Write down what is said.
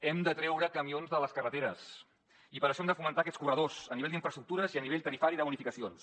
hem de treure camions de les carreteres i per això hem de fomentar aquests corredors a nivell d’infraestructures i a nivell tarifari de bonificacions